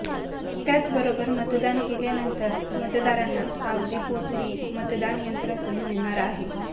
त्याचबरोबर मतदान केल्यानंतर मतदारांना कागदी पोचही मतदानयंत्रातून मिळणार आहे